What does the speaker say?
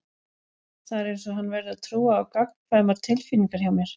Það er einsog hann verði að trúa á gagnkvæmar tilfinningar hjá mér.